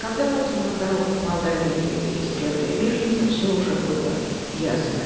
когда утром на дорогах молдавии появились первые беженцы всё уже было ясно